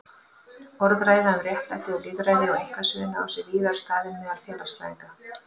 Orðræða um réttlæti og lýðræði á einkasviðinu á sér víðar stað en meðal félagsfræðinga.